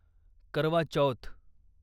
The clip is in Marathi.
करवा चौथ